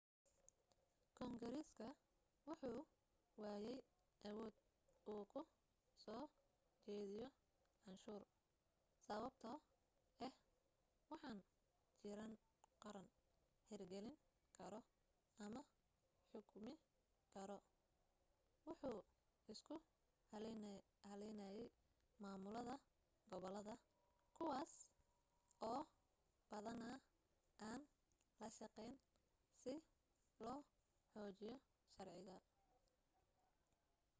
kongareska wuxuu waayey awood uu ku soo jediyo canshuur sababto ah waxaan jiran qaran hir gelin karo ama xukmi kara wuxuu isku halaynayaamaaamulada gobolada kuwaas oo badana aan la shaqeyn si loo xoojiyo sharciga